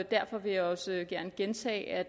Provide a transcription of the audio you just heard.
derfor vil jeg også gerne gentage at